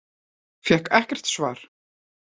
Fékk ekkert svar.